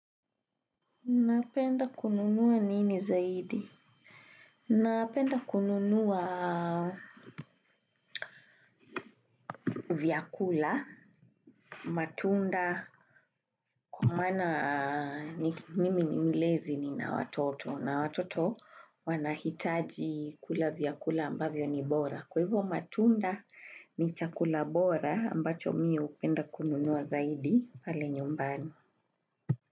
Napenda kununua nini zaidi? Napenda kununua vyakula, matunda, kwa maana mimi ni mlezi nina watoto. Na watoto wanahitaji kula vyakula ambavyo ni bora. Kwa hivyo matunda ni chakula bora ambacho mimi hupenda kununua zaidi pale nyumbani.